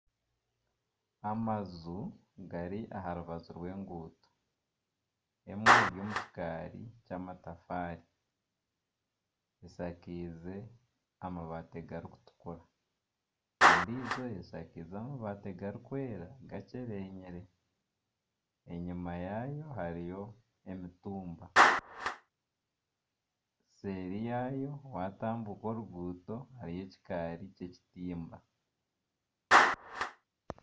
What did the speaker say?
Amaju gari aha rubaju rw'enguuto emwe eri omu kikaari ky'amatafaari eshakeize amabaati garikutukura endiijo eshakeize amabaati garikwera gakyerenyire enyima yaayo hariyo emitumba nseeri yaayo watambuka oruguuto hariyo ekikaari ky'ekitimba.